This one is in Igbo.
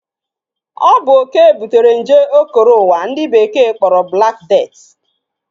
Ọ bụ oke butere nje o koro ụwa ndi Bekee kpọrọ Black Death